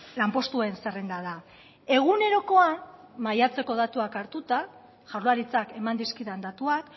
lanpostuen zerrenda da egunerokoan maiatzeko datuak hartuta jaurlaritzak eman dizkidan datuak